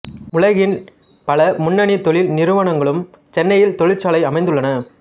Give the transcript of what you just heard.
உலகின் பல முன்னணி தொழில் நிறுவனங்களும் சென்னையில் தொழிற்சாலை அமைத்துள்ளன